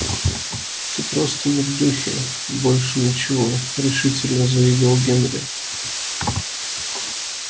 ты просто не в духе и больше ничего решительно заявил генри